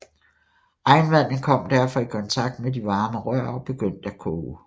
Regnvandet kom derfor i kontakt med de varme rør og begyndte at koge